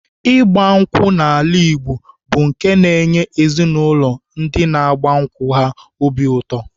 Ịgba nkwụ n'ala Igbo bụ nke na-enye ezinaụlọ ndị na-agba nkwụ ha obi ụtọ.